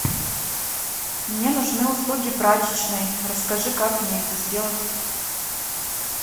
мне нужны услуги прачечной расскажи как мне это сделать